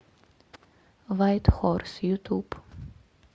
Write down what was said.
вайт хорс ютуб